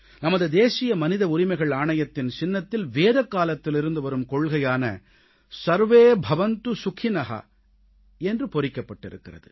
நமது தேசிய மனித உரிமைகள் ஆணையத்தின் சின்னத்தில் வேதகாலத்திலிருந்து வரும் கொள்கையான ஸர்வே பவந்து சுகின என்பது பொறிக்கப்பட்டிருக்கிறது